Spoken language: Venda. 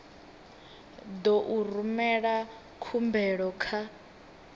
ḓo u rumela khumbelo kha